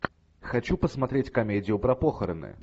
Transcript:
хочу посмотреть комедию про похороны